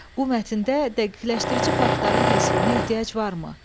Bu mətndə dəqiqləşdirici faktların təsvirinə ehtiyac varmı?